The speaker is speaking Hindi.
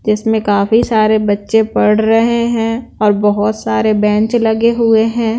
जिसमें काफी सारे बच्चे पढ़ रहे हैं और बहुत सारे बैंक लगे हुए हैं।